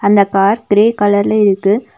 அந்த car grey கலர்ல இருக்கு.